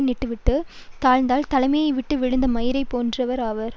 விட்டுவிட்டுத் தாழ்ந்தால் தலையை விட்டு விழுந்த மயிரை போன்றவர் ஆவார்